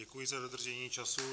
Děkuji za dodržení času.